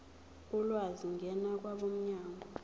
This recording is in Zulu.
ulwazi ngena kwabomnyango